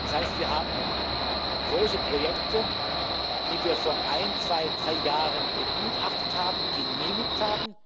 Das heißt, wir haben große Projekte, die wir vor ein, zwei, drei Jahren begutachtet und genehmigt haben